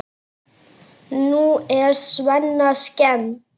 Nú er Svenna skemmt.